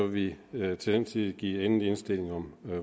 vi vil til den tid give endelig indstilling om